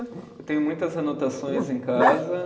Eu tenho muitas anotações em casa.